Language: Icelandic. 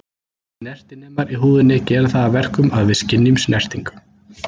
Snertinemar í húðinni gera það að verkum að við skynjum snertingu.